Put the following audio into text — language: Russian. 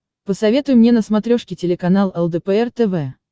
посоветуй мне на смотрешке телеканал лдпр тв